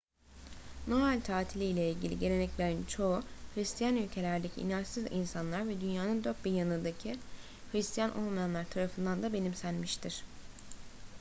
noel tatili ile ilgili geleneklerin çoğu hıristiyan ülkelerdeki inançsız insanlar ve dünyanın dört bir yanındaki hıristiyan olmayanlar tarafından da benimsenmiştir